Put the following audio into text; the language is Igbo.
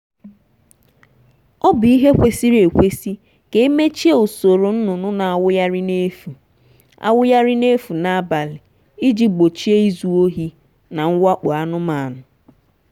ọ bu ihe kwesiri ekwesi ka emechie usoro nnụnụ na-awụgharị n'efu na-awụgharị n'efu n'abalị iji gbochie izu ohi na mwakpo anụmanụ.